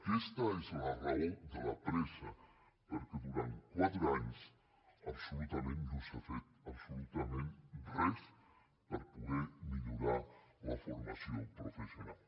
aquesta és la raó de la pressa perquè durant quatre anys no s’ha fet absolutament res per poder millorar la formació professional